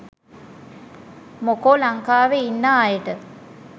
මොකෝ ලංකාවේ ඉන්නා අයට